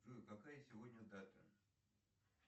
джой какая сегодня дата